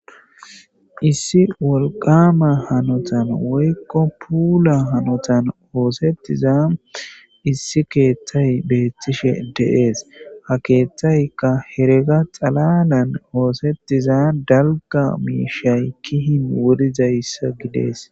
Issi wolqqaama hanothan woykko puula hanothan ooseththiza issi keeththay beeththishe de7ees; ha keeththaykka herega xalaalan ooseththiza dalgga miishshay kihin wuridayssa gidees.